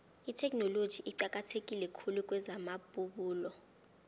itheknoloji iqakatheke khulu kwezamabubulo